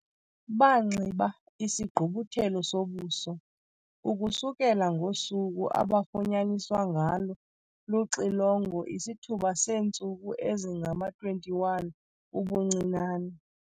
Banxiba isigqubuthelo sobuso, ukusukela ngosuku abafunyaniswa ngalo luxilongo isithuba seentsuku ezingama-21 ubuncinane.